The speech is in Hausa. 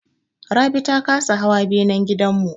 Rabi ta kasa hawa benan gidan mu.